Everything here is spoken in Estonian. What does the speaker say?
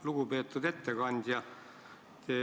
Lugupeetud ettekandja!